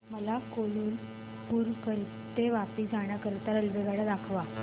मला कालुपुर ते वापी जाण्या करीता रेल्वेगाड्या दाखवा